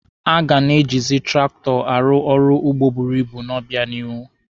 A ga na-ejizi traktọ arụ ọrụ ugbo buru ibu n'obịanihu.